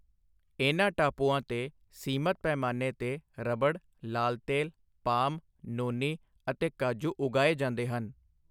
ਇਨ੍ਹਾਂ ਟਾਪੂਆਂ 'ਤੇ ਸੀਮਤ ਪੈਮਾਨੇ 'ਤੇ ਰਬੜ, ਲਾਲ ਤੇਲ, ਪਾਮ, ਨੋਨੀ ਅਤੇ ਕਾਜੂ ਉਗਾਏ ਜਾਂਦੇ ਹਨ।